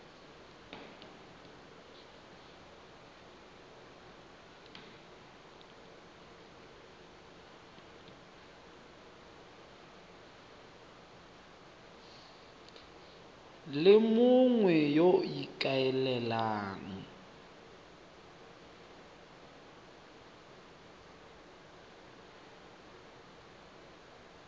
le mongwe yo o ikaelelang